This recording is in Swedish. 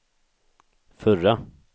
förra